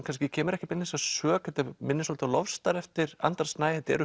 kannski kemur ekki beinlínis að sök þetta minnir svolítið á LoveStar eftir Andra Snæ þetta eru